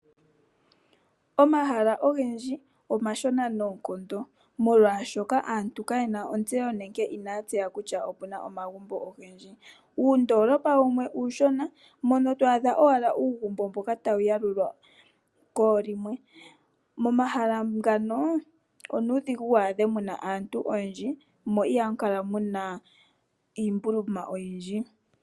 Omahala ogendji omashona noonkondo molwashoka aantu kayena otseyo nenge ina ya tseya kutya opena omagumbo ogendji. Uundolopa wumwe uushona mono twaadha owala uugumbo mboka tawu yalulwa koolimwe. Momahala ngano onuudhigu wu adhe muna aantu oyendji mo iha mu kala muna iimbuluma oyindji.